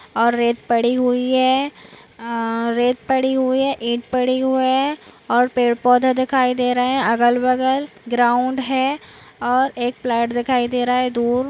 और रेत पड़ी हुई है अह रेत पड़ी हुई है रेत पड़ी हुए है और पेड़पौधे दिखाई दे रहे है अगल-बगल ग्राउंड है और एक प्लॅट दिखाई दे रहा है दूर--